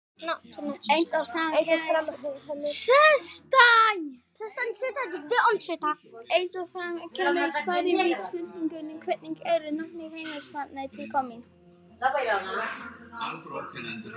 Eins og fram kemur í svari við spurningunni Hvernig eru nöfn heimsálfanna til komin?